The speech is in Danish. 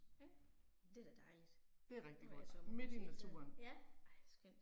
Ja, det da dejligt, at være i sommerhus hele tiden, ja, ej skønt